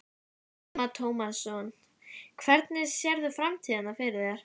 Telma Tómasson: Hvernig sérðu framtíðina fyrir þér?